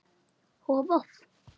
og Voff